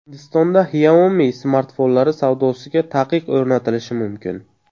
Hindistonda Xiaomi smartfonlari savdosiga taqiq o‘rnatilishi mumkin.